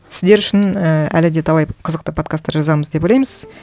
сіздер үшін і әлі де талай қызықты подкасттар жазамыз деп ойлаймыз